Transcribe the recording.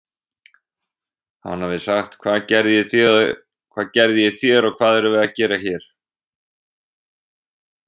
Hann hafi sagt: Hvað gerði ég þér og hvað erum við að gera hér?